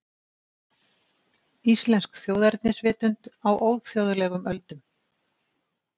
Íslensk þjóðernisvitund á óþjóðlegum öldum